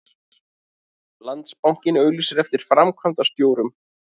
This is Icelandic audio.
Landsbankinn auglýsir eftir framkvæmdastjórum